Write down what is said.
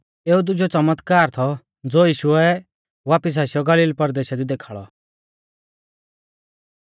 एऊ दुजौ च़मतकार थौ ज़ो यीशुऐ वापिस आशीयौ गलील परदेशा दी देखाल़ौ